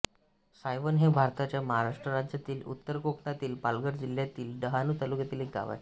सायवण हे भारताच्या महाराष्ट्र राज्यातील उत्तर कोकणातील पालघर जिल्ह्यातील डहाणू तालुक्यातील एक गाव आहे